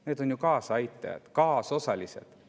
Need on ju kaasaaitajad, kaasosalised.